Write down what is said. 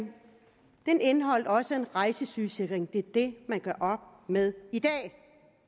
den indeholdt også en rejsesygesikring det er det man gør op med i dag